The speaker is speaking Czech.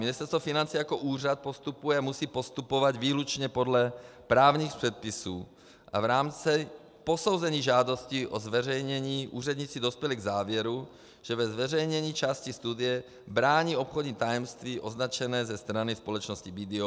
Ministerstvo financí jako úřad postupuje a musí postupovat výlučně podle právních předpisů a v rámci posouzení žádosti o zveřejnění úředníci dospěli k závěru, že ve zveřejnění části studie brání obchodní tajemství označené ze strany společnosti BDO.